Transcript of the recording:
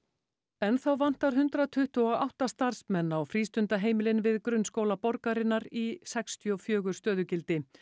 enn þá vantar hundrað tuttugu og átta starfsmenn á frístundaheimilin við grunnskóla borgarinnar í sextíu og fjögur stöðugildi